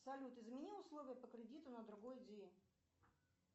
салют измени условия по кредиту на другой день